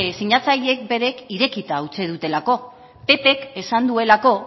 sinatzaileek berek irekita utzi dutelako pp k esan duelako